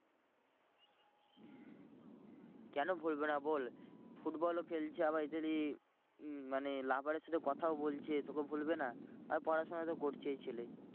কেন ভুলবে না বল football ও খেলছে আবার মানে lover এর সাথে কথাও বলছে তোকে ভুলবে না। আর পড়াশোনা তো করছেই ছেলে।